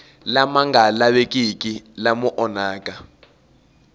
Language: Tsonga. lama nga lavekiki lama onhaka